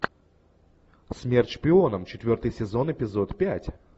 смерть шпионам четвертый сезон эпизод пять